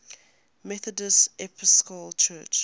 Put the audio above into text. methodist episcopal church